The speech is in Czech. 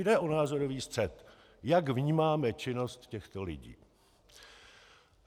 Jde o názorový střet, jak vnímáme činnost těchto lidí.